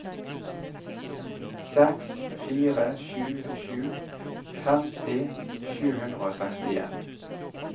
seks fire sju sju femti sju hundre og sekstien